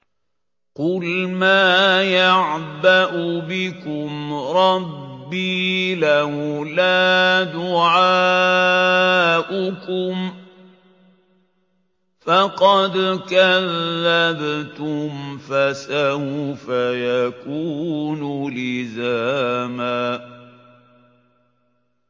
قُلْ مَا يَعْبَأُ بِكُمْ رَبِّي لَوْلَا دُعَاؤُكُمْ ۖ فَقَدْ كَذَّبْتُمْ فَسَوْفَ يَكُونُ لِزَامًا